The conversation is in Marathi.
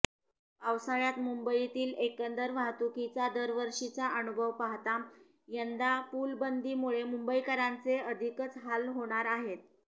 पावसाळ्यात मुंबईतील एकंदर वाहतुकीचा दरवर्षीचा अनुभव पाहता यंदा पूलबंदीमुळे मुंबईकरांचे अधिकच हाल होणार आहेत